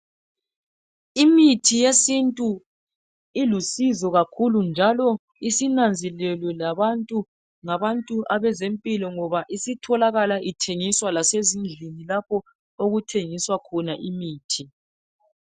Imithi yesintu ilusizo kakhulu njalo isinanzelelwe labantu ngabantu abezimpilo ngoba isitholakala ithengiswa lasezindlini lapho okuthengiswa khona imithi.